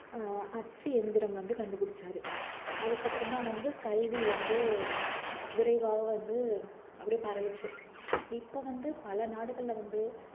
ஆஹ் அச்சு எந்திரம் வந்து கண்டுபிடிச்சாரு அதுக்கப்புறம்தான் வந்து கல்வி வந்து விரைவாக வந்து அப்படியே பரவுச்சு இப்ப வந்து பல நாடுகள்ல வந்து